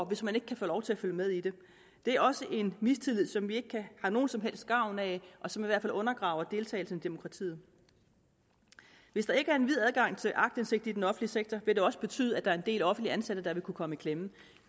hvis man ikke kan få lov at følge med i det det er også en mistillid som vi ikke har nogen som helst gavn af og som i hvert fald undergraver deltagelsen i demokratiet hvis der ikke er en vid adgang til aktindsigt i den offentlige sektor vil det også betyde at der er en del offentligt ansatte der vil kunne komme i klemme